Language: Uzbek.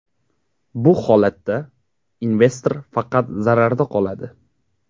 Bu holatda investor faqat zararda qoladi.